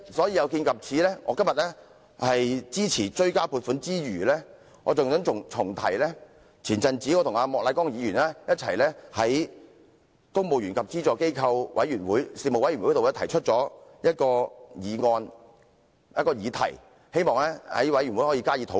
有見及此，我今天除了支持《條例草案》外，還想重提早前我與莫乃光議員一同在公務員及資助機構員工事務委員會上提出的一項議題，希望事務委員會能加以討論。